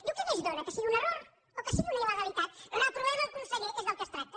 diu què més dóna que sigui un error o que sigui una il·legalitat reprovem el conseller que és del que es tracta